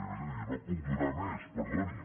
jo no puc donar més perdoni